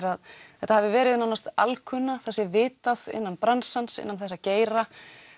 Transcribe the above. að þetta hafi verið nánast alkunna það sé vitað innan bransans innan þessa geira